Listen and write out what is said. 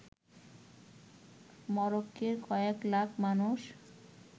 মরক্কোর কয়েক লাখ মানুষ